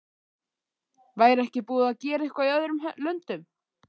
Væri ekki búið að gera eitthvað í öðrum löndum?